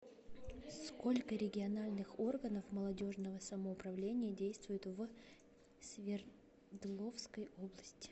сколько региональных органов молодежного самоуправления действует в свердловской области